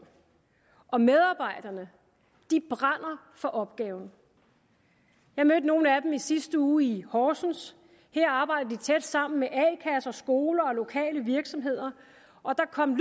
og medarbejderne brænder for opgaven jeg mødte nogle af dem i sidste uge i horsens her arbejder de tæt sammen med a kasser skoler og lokale virksomheder og der kom